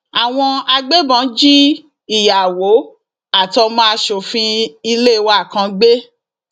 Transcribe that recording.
àwọn agbébọn jí ìyàwó àtọmọ asòfin ilé wa kan gbé